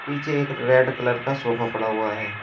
पीछे एक red colour का सोफा पड़ा हुआ है।